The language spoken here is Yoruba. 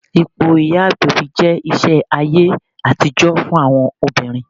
Ipò ìyá agbẹ̀bí jẹ́ iṣẹ́ ayé àtijọ́ fún àwọn obìnrin